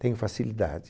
Tenho facilidade.